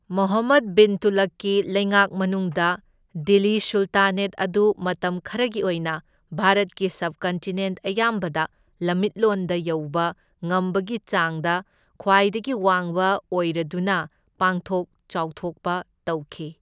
ꯃꯣꯍꯝꯃꯗ ꯕꯤꯟ ꯇꯨꯘꯂꯨꯛꯀꯤ ꯂꯩꯉꯥꯛ ꯃꯅꯨꯡꯗ, ꯗꯤꯜꯂꯤ ꯁꯨꯜꯇꯥꯅꯦꯠ ꯑꯗꯨ ꯃꯇꯝ ꯈꯔꯒꯤ ꯑꯣꯏꯅ ꯚꯥꯔꯠꯀꯤ ꯁꯕꯀꯟꯇꯤꯅꯦꯟꯠ ꯑꯌꯥꯝꯕꯗ ꯂꯝꯃꯤꯠꯂꯣꯟꯗ ꯌꯧꯕ ꯉꯝꯕꯒꯤ ꯆꯥꯡꯗ ꯈ꯭ꯋꯥꯏꯗꯒꯤ ꯋꯥꯡꯕ ꯑꯣꯏꯔꯗꯨꯅ ꯄꯥꯛꯊꯣꯛ ꯆꯥꯎꯊꯣꯛꯄ ꯇꯧꯈꯤ꯫